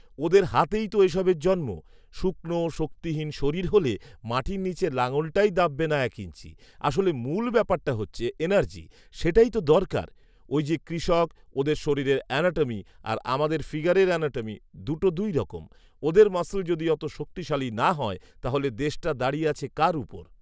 ওদের হাতেই তো এসবের জন্ম ৷শুকনো, শক্তিহীন শরীর হলে মাটির নিচে লাঙলটাই দাব্বে না এক ইঞ্চি ৷আসলে, মূল ব্যাপারটা হচ্ছে এনার্জি, সেটাই তো দরকার ৷ঐ যে কৃষক, ওদের শরীরের অ্যানাটমি আর আমাদের ফিগারের অ্যানাটমি, দুটো দুই রকম ৷ওদের মাসল যদি অতো শক্তিশালী না হয় তাহলে দেশটা দাঁড়িয়ে আছে কার উপর